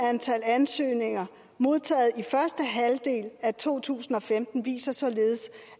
antal ansøgninger modtaget i første halvdel af to tusind og femten viser således